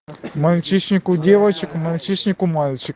мальчишник у девочек мальчишник у мальчи